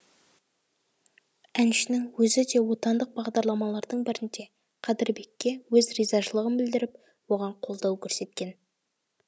әншінің өзі де отандық бағдарламалардың бірінде қадірбекке өз ризашылығын білдіріп оған қолдау көрсеткен